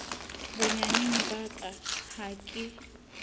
bonyaneng ba ka ha ke